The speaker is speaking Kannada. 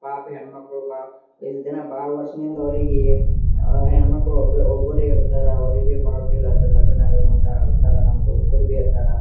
ಪಾಪ ಹೆಣ್ ಮಕ್ಕಳು ಬಾಳ ಈಸ್ಟ್ ವರ್ಷದಿಂದ ಅವರಿಗಿ ಹೆಣ್ ಮಕ್ಕಳು ಒಬ್ಬರ ಒಬ್ಬರೇ ಇರ್ತಾರ ಅವ್ರಿಗೆ ಬಹಳ ಫೀಲ್ ಆಗ್ತದ ಲಗ್ನ ಆಗ ಮುಂದ ಅಳ್ತಾರಾ ನಮ್ ದೋಸ್ತರಬಿ ಅಳ್ತಾರಾ.